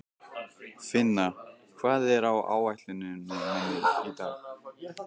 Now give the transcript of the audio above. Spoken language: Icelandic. Finna, hvað er á áætluninni minni í dag?